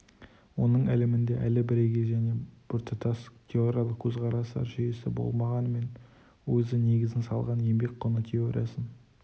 оның ілімінде әлі бірегей және біртұтас теориялық көзқарастар жүйесі болмағанымен өзі негізін салған еңбек құны теориясын